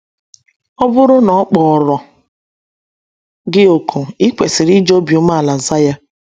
Ọ bụrụ na ọ kpọrọ gị òkù, i kwesịrị iji obi umeala zaa ya.